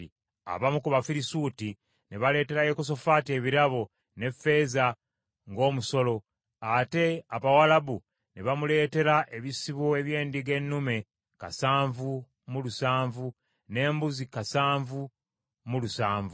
Abamu ku Bafirisuuti ne baleetera Yekosafaati ebirabo, ne ffeeza ng’omusolo, ate Abawalabu ne bamuleetera ebisibo eby’endiga ennume kasanvu mu lusanvu, n’embuzi kasanvu mu lusanvu.